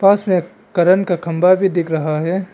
पास में एक करेन्त का खंबा भी दिख रहा है।